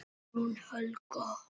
Guðrún Helga.